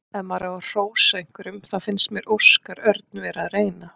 Ef maður á að hrósa einhverjum þá fannst mér Óskar Örn vera að reyna.